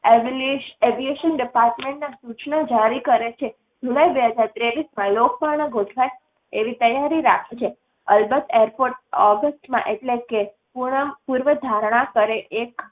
એબિલેશ એબિલેશ department ના સૂચના જારી કરે છે. જુલાઈ બે હજાર ત્રેવીસમાં લોકપર્ણ ગોઠવાય એવી તૈયારી રાખે છે. અલબત airport ઓગસ્ટમાં એટલે કે પૂર્ણ પૂર્વધારણા કરે એક